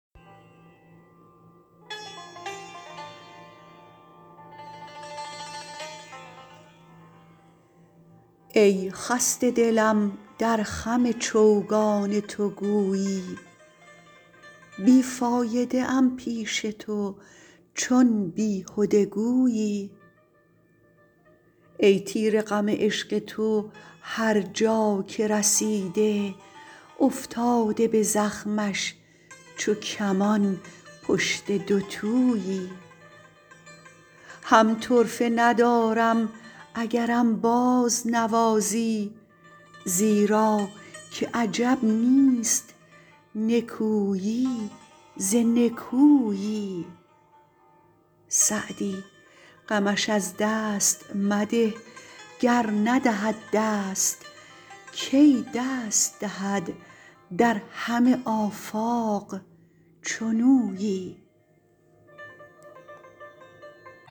ای خسته دلم در خم چوگان تو گویی بی فایده ام پیش تو چون بیهده گویی ای تیر غم عشق تو هر جا که رسیده افتاده به زخمش چو کمان پشت دوتویی هم طرفه ندارم اگرم بازنوازی زیرا که عجب نیست نکویی ز نکویی سعدی غمش از دست مده گر ندهد دست کی دست دهد در همه آفاق چنویی